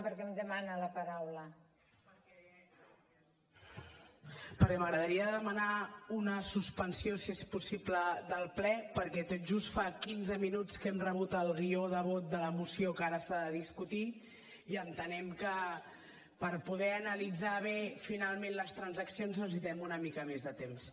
perquè m’agradaria demanar una suspensió si és possible del ple perquè tot just fa quinze minuts que hem rebut el guió de vot de la moció que ara s’ha de discutir i entenem que per poder analitzar bé finalment les transaccions necessitem una mica més de temps